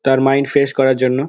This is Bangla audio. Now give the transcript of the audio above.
তার মাইন্ড ফ্রেশ করার জন্য।